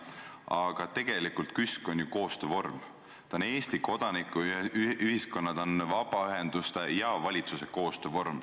Aga tegelikult on KÜSK ju koostöövorm, ta on Eesti kodanikuühiskonna, ta on vabaühenduste ja valitsuse koostöövorm.